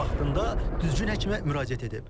O vaxtında düzgün həkimə müraciət edib.